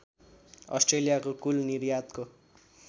अस्ट्रेलियाको कुल निर्यातको